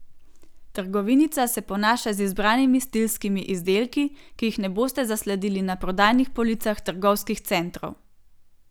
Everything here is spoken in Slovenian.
Trgovinica se ponaša z izbranimi stilskimi izdelki, ki jih ne boste zasledili na prodajnih policah trgovskih centrov.